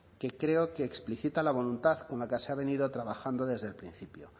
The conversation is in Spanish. que creo que explicita la voluntad con la que se ha venido trabajando desde el principio